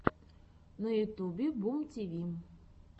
на ютюбе бумтиви